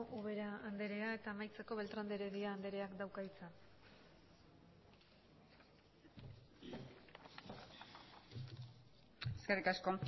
ubera andrea eta amaitzeko beltrán de heredia andreak dauka hitza eskerrik asko